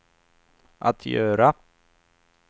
att göra